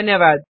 धन्यवाद